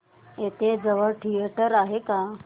इथे जवळ थिएटर आहे का